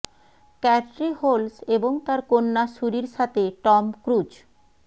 ক্যাটরি Holmes এবং তার কন্যা সুরির সাথে টম ক্রুজ